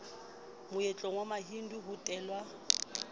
moetlong wa mahindu ho hatellwa